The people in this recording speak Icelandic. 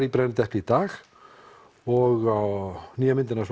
í brennidepli í dag og nýja myndin